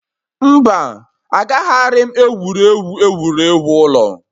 Mba, Agaraghị m egwuregwu egwuregwu ụlọ